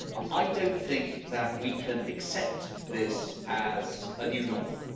I don't think that we can accept this as a new normal.